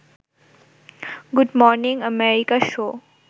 good morning America show